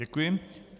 Děkuji.